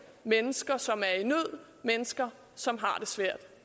mennesker som er i nød mennesker som har det svært